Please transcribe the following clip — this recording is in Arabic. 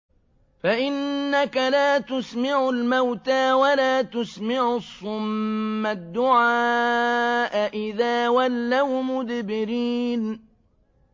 فَإِنَّكَ لَا تُسْمِعُ الْمَوْتَىٰ وَلَا تُسْمِعُ الصُّمَّ الدُّعَاءَ إِذَا وَلَّوْا مُدْبِرِينَ